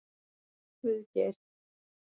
Guðgeir